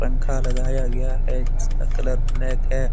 पंखा लगाया गया है जिसका कलर ब्लैक है।